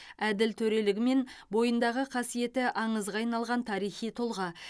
әділ төрелігі мен бойындағы қасиеті аңызға айналған тарихи тұлға